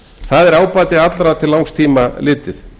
það er ábati allra til langs tíma litið